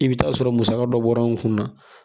I bɛ taa sɔrɔ musaka dɔ bɔra an kun na